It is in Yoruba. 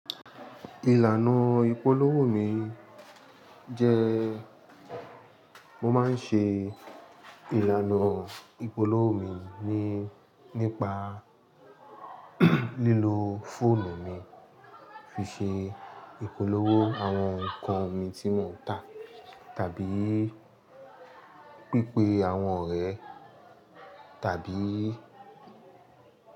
Ìlànà ìpolówó mi jẹ, mo máa ń ṣe ìlànà ìpolówó mi ní, nípa lílo fóònù mi fi ṣe ìpolówó àwọn nǹkan mi tí mò ń tà tàbí pípé àwọn ọ̀rẹ́ tàbí.